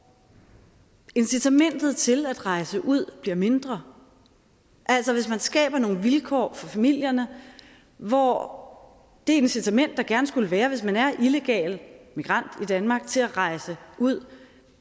incitamentet til at rejse ud bliver mindre altså hvis man skaber nogle vilkår for familierne hvor det incitament der gerne skulle være hvis man er illegal migrant i danmark til at rejse ud